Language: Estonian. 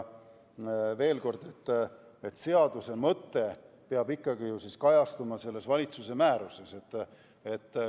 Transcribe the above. Veel kord: seaduse mõte peab ikkagi kajastuma valitsuse määruses.